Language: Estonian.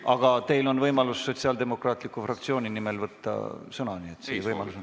Aga teil on võimalus Sotsiaaldemokraatliku Erakonna fraktsiooni nimel sõna võtta, nii et seda võite kasutada.